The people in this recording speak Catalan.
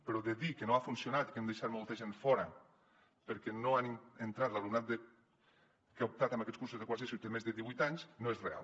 però dir que no ha funcionat i que hem deixat molta gent fora perquè no ha entrat l’alumnat que ha optat per aquests cursos de quart d’eso i té més de divuit anys no és real